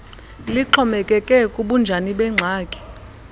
lixhomekeke kubunjani bengxaki